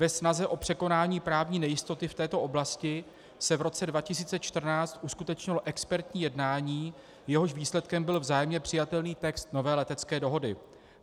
Ve snaze o překonání právní nejistoty v této oblasti se v roce 2014 uskutečnilo expertní jednání, jehož výsledkem byl vzájemně přijatelný text nové letecké dohody.